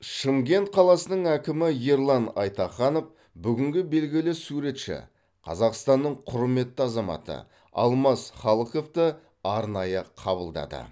шымкент қаласының әкімі ерлан айтаханов бүгін белгілі суретші қазақстанның құрметті азаматы алмас халықовты арнайы қабылдады